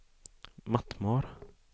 Mattmar